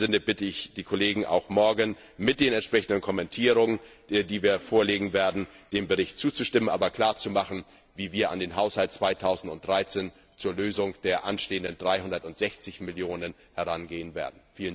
In dem Sinne bitte ich die Kollegen, morgen mit den entsprechenden Kommentierungen, die wir vorlegen werden, dem Bericht zuzustimmen, aber klarzumachen, wie wir an den Haushalt 2013 zur Lösung der anstehenden 360 Millionen EUR herangehen werden.